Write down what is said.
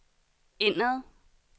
indad